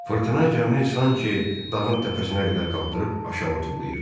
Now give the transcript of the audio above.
Fırtına gəmini sanki dağın təpəsinə qədər qaldırıb aşağı tullayırdı.